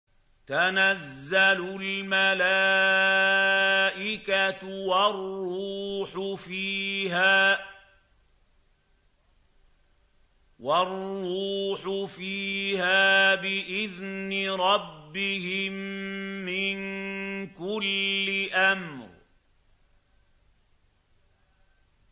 تَنَزَّلُ الْمَلَائِكَةُ وَالرُّوحُ فِيهَا بِإِذْنِ رَبِّهِم مِّن كُلِّ أَمْرٍ